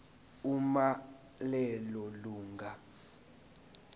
uma lelo lunga